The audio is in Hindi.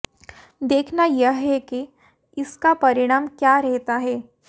देखना यह है कि इसका परिणाम क्या रहता है